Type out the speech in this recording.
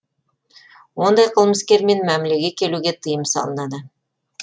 ондай қылмыскермен мәмілеге келуге тыйым салынады